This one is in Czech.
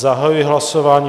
Zahajuji hlasování.